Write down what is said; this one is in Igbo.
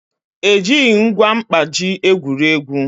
Ejighị ngwa mkpaji egwuri egwu